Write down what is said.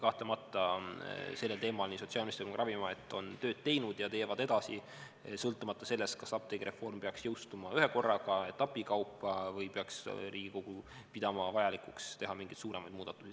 Kahtlemata, sellel teemal nii sotsiaalminister kui ka Ravimiamet on tööd teinud ja teevad edasi, sõltumata sellest, kas apteegireform peaks jõustuma ühekorraga, etapikaupa või peaks Riigikogu pidama vajalikuks teha selles mingeid suuremaid muudatusi.